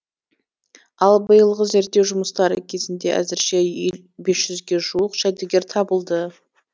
ал биылғы зерттеу жұмыстары кезінде әзірше бес жүзге жуық жәдігер табылды